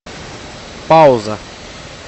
пауза